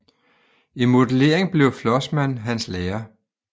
I modelering blev Flossmann hans lærer